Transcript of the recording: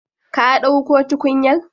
Ka dauko tukunyar?